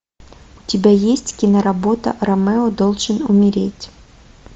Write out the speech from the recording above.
у тебя есть кино работа ромео должен умереть